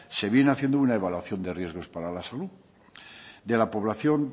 se viene haciendo una evaluación de riesgos para la salud de la población